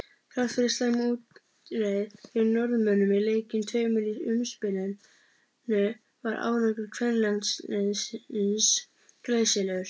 Þrátt fyrir slæma útreið gegn Norðmönnum í leikjunum tveimur í umspilinu var árangur kvennalandsliðsins glæsilegur.